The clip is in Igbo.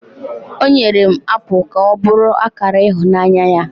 o nyere m apụl ka ọ bụrụ akara ịhụnanya ya